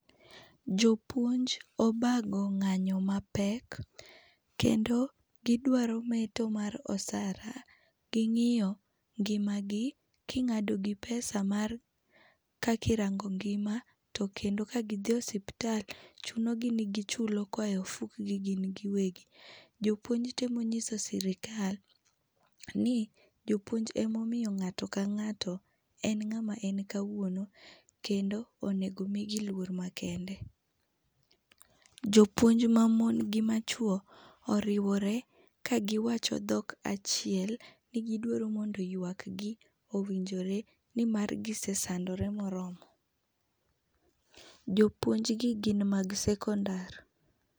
Jopuonj obago ng'anyo mapek kendo gidwaro meto mar osara, ging'iyo ngimagi king'adogi pesa mar kaka irango ngima tokendo ka gidhi osiptal, chunogi ni gichulo koa e ofukgi gin giwegi. Jopuonj temo nyiso sirkal ni jopuonj emomiyo ng'ato kang'ato en ng'ama en kawuono, kendo onego omigi luor makende. Jopuonj mamon gi machuo oriwore ka giwacho dhok achiel ni gidwaro mondo ywak gi owinjore nimar gise sandre moromo. Jopuonjgi gin mag sekondar.